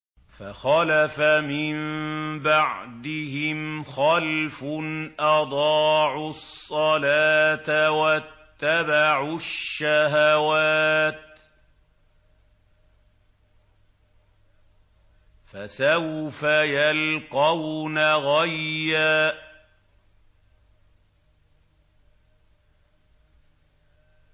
۞ فَخَلَفَ مِن بَعْدِهِمْ خَلْفٌ أَضَاعُوا الصَّلَاةَ وَاتَّبَعُوا الشَّهَوَاتِ ۖ فَسَوْفَ يَلْقَوْنَ غَيًّا